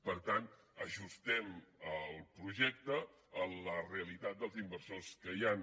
per tant ajustem el projecte a la realitat dels inversors que hi han